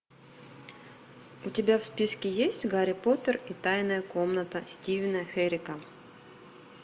у тебя в списке есть гарри поттер и тайная комната стивена херека